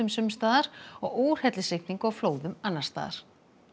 sums staðar og úrhellisrigningu og flóðum annars staðar